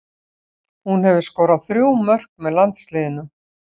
Hún hefur skorað þrjú mörk með landsliðinu.